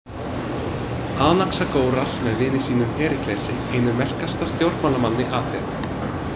Anaxagóras með vini sínum Períklesi, einum merkasta stjórnmálamanni Aþenu.